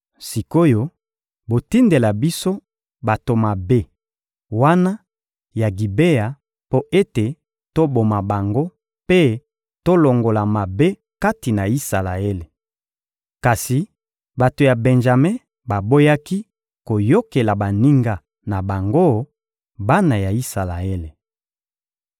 Sik’oyo, botindela biso bato mabe wana ya Gibea mpo ete toboma bango mpe tolongola mabe kati na Isalaele.» Kasi bato ya Benjame baboyaki koyokela baninga na bango, bana ya Isalaele.